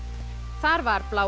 þar var bláa